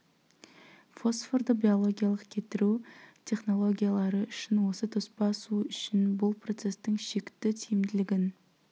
фосфорды биологиялық кетіру технологиялары үшін осы тоспа су үшін бұл процесстің шекті тиімділігін